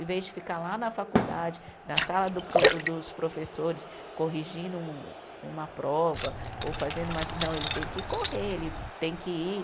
Em vez de ficar lá na faculdade, na sala do pro, dos professores, corrigindo um uma prova ou fazendo uma. Não, ele tem que correr, ele tem que ir.